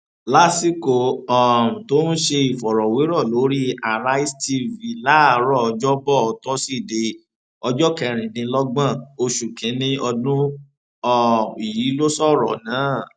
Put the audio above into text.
lásìkò um tó ń ṣe ìfọrọwérọ lórí àrísé t-v láàárọ ọjọbọ tóṣìdẹẹ ọjọ kẹrìndínlọgbọn oṣù kínínní ọdún um yìí ló sọrọ náà